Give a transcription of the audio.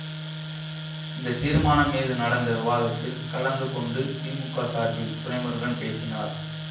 இந்த தீர்மானம் மீது நடந்த விவாதத்தில் கலந்து கொண்டு திமுக சார்பில் துரைமுருகன் பேசினார்